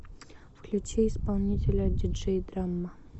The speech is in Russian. включи исполнителя диджей драма